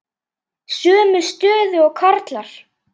Sömu stöðu og karlar.